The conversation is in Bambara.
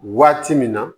Waati min na